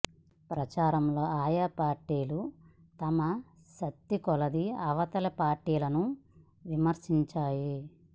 ప్రచారంలో ఆయా పార్టీలు తమ తమ శక్తికొలది అవతలి పార్టీలను విమర్శించాయి